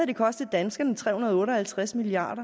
det kostet danskerne tre hundrede og otte og halvtreds milliard